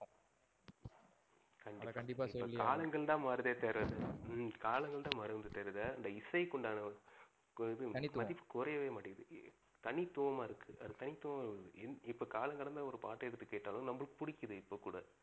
கண்டிப்பா. காலங்கள்தான் மாறுதே தவிர ஹம் காலங்கள்தான் மாறுதேரத இந்த இசைக்கு உண்டான இது கண்டிப்பா தனித்துவம் மதிப்பு குறையவே மாட்டேன்ங்கிது. தனித்துவமா இருக்கு அது தனித்துவம் இன் இப்ப காலம் கடந்த ஒரு பாட்டு எடுத்து கேட்டாலும் நமக்கு புடிக்கிது இப்ப கூட.